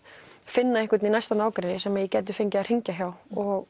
finna einhvern í næsta nágrenni sem ég gæti fengið að hringja hjá og